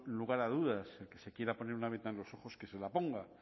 lugar a dudas el que se quiera poner una venda en los ojos que se la ponga